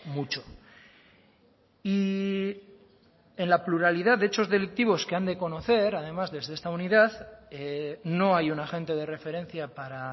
mucho y en la pluralidad de hechos delictivos que han de conocer además desde esta unidad no hay un agente de referencia para